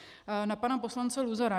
Na pana poslance Luzara.